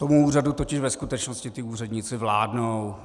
Tomu úřadu totiž ve skutečnosti ti úředníci vládnou.